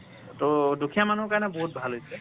টো দুখীয়া মানুহৰ কাৰণে বহুত ভাল হৈছে।